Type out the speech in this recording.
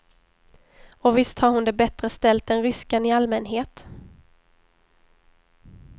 Och visst har hon det bättre ställt än ryskan i allmänhet.